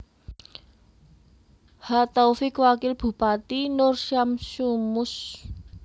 H Taufik Wakil Bupati Nur Syamsu Mus